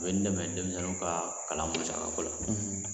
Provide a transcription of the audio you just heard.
O ye n dɛmɛ denmisɛnninw ka kalan musaka ko la